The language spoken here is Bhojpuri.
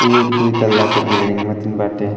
इ एक दुई तल्ला के बिल्डिंग मतीन बाटे --